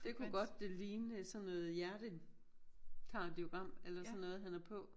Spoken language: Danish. Det kunne godt ligne sådan noget hjertekardiogram eller sådan noget han har på